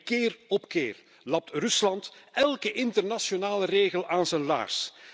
En keer op keer lapt Rusland elke internationale regel aan zijn laars.